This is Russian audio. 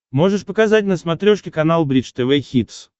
можешь показать на смотрешке канал бридж тв хитс